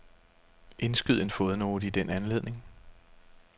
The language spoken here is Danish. Indskyd en fodnote i den anledning.